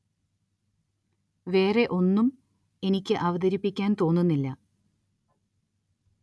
വേറെ ഒന്നും എനിക്ക് അവതരിപ്പിക്കാന്‍ തോന്നുന്നില്ല